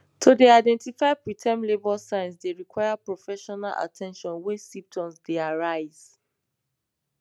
to dey identify preterm labour signs dey require professional at ten tion wen symptoms dey arise